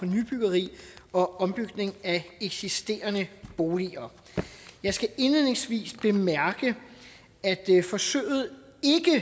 nybyggeri og ombygning af eksisterende boliger jeg skal indledningsvis bemærke at forsøget